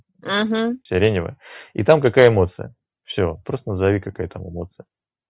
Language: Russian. угу сиреневая и там какая эмоция все просто назови какая там эмоция